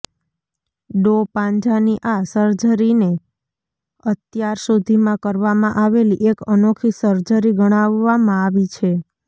ડો પાંજાની આ સર્જરીને અત્યારસુધીમાં કરવામાં આવેલી એક અનોખી સર્જરી ગણાવવામાં આવી છે